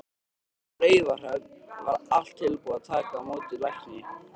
Á Raufarhöfn var allt tilbúið að taka á móti lækni.